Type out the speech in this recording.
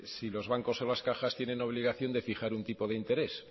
si los bancos o las cajas tienen obligación de fijar un tipo de interés